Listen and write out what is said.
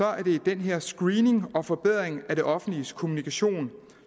er det den her screening og forbedring af det offentliges kommunikation